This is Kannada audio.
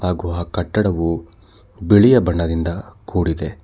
ಹಾಗು ಆ ಕಟ್ಟಡವು ಬಿಳಿಯ ಬಣ್ಣದಿಂದ ಕೂಡಿದೆ.